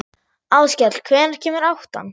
Áskell, hvenær kemur áttan?